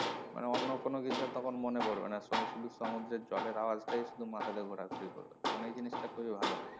মানে অন্য কিছু তখন আর মনে পড়বে না তখন শুধু সমুদ্রের জলের আওয়াজ টাই শুধু মাথা তে ঘোরা ঘুরি করবে তখন এই জিনিসটা খুবই ভালো,